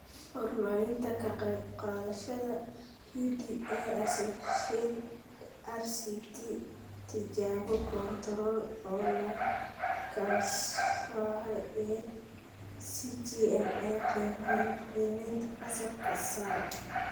Horumarinta Ka qaybqaadashada PDA AssociatesRCT Tijaabo kontorool oo la kala soocay ee SeGMA Qiimaynta Fasalka Sare